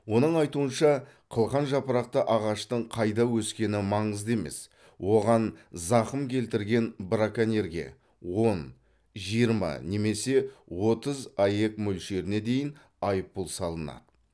оның айтуынша қылқан жапырақты ағаштың қайда өскені маңызды емес оған зақым келтірген браконьерге он жиырма немесе отыз аек мөлшеріне дейін айыппұл салынады